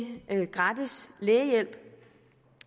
gratis lægehjælp